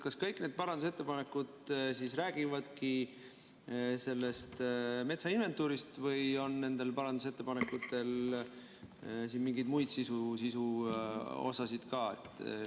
Kas kõik need parandusettepanekud räägivadki sellest metsainventuurist või on nendel parandusettepanekutel siin mingi muu sisu ka?